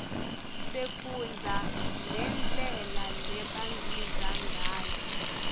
sifundza nendlela lebagidza ngayo